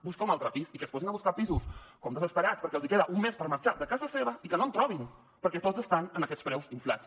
busca un altre pis i que es posin a buscar pisos com a desesperats perquè els queda un mes per marxar de casa seva i que no em trobin perquè tots estan amb aquests preus inflats